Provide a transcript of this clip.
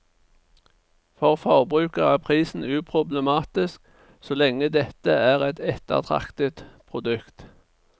For forbruker er prisen uproblematisk, så lenge dette er et ettertraktet produkt.